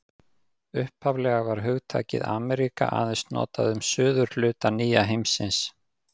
Upphaflega var hugtakið Ameríka aðeins notað um suðurhluta nýja heimsins.